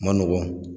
Ma nɔgɔn